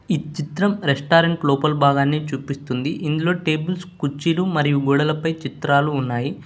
ఈ చిత్రం రెస్టారెంట్ లోపల భాగాన్ని చూపిస్తుంది ఇందులో టేబుల్స్ కుర్చీలు మరియు గోడలపై చిత్రాలు ఉన్నాయి.